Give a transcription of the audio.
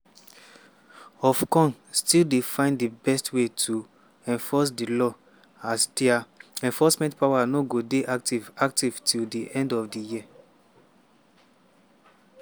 ofcom still dey find di best way to enforce di law as dia enforcement power no go dey active active till di end of di year.